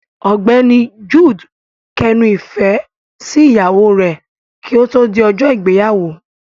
Ọ̀gbẹ́ni Jude kẹnu ifẹ sí ìyàwó rẹ ki o to di ọjọ ìgbéyàwó.